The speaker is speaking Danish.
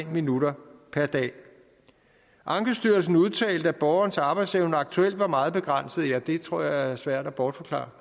minutter per dag ankestyrelsen udtalte at borgerens arbejdsevne aktuelt var meget begrænset ja det tror jeg er svært at bortforklare